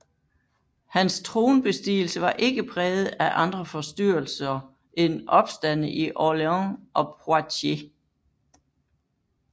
Hans tronbestigelse var ikke præget af andre forstyrrelser end opstande i Orléans og Poitiers